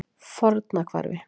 Fornahvarfi